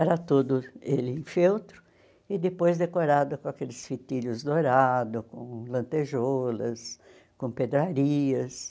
Era todo ele em feltro e depois decorado com aqueles fitilhos dourados, com lantejolas, com pedrarias.